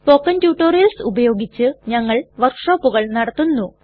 spoken tutorials ഉപയോഗിച്ച് ഞങ്ങൾ വർക്ക്ഷോപ്പുകൾ നടത്തുന്നു